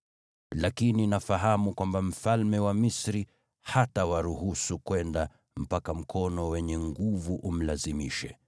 Lakini nafahamu kwamba mfalme wa Misri hatawaruhusu kwenda, mpaka mkono wenye nguvu umlazimishe.